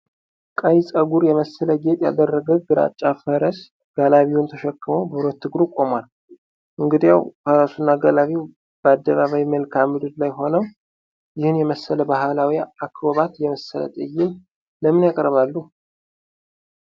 ቀይ ጸጉር የመሰለ ጌጥ ያደረገ ግራጫ ፈረስ ጋላቢውን ተሸክሞ በሁለት እግሩ ቆሟል፤ እንግዲያው፣ ፈረሱና ጋላቢው በአደባባይ መልክዓ ምድር ላይ ሆነው ይህንን የመሰለ ባህላዊ አክሮባት የመሰለ ትዕይንት ለምን ያቀርባሉ?